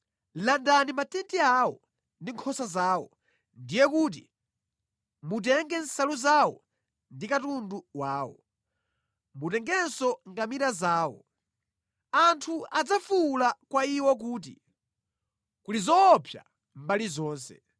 Landani matenti awo ndi nkhosa zawo, ndiye kuti, mutenge nsalu zawo ndi katundu wawo. Mutengenso ngamira zawo. Anthu adzafuwula kwa iwo kuti, ‘Kuli zoopsa mbali zonse!’